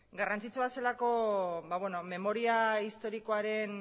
garrantzitsua zelako memoria historikoaren